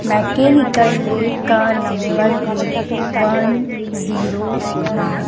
Mechanical lab का number हैं one zero nine.